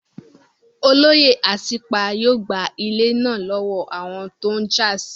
Olóyè Asípa yóò gba ilẹ̀ náà lọ́wọ́ àwọn tó n jà sí